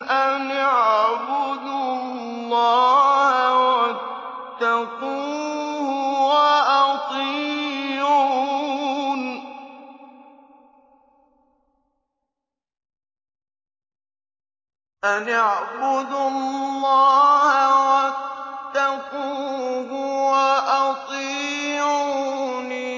أَنِ اعْبُدُوا اللَّهَ وَاتَّقُوهُ وَأَطِيعُونِ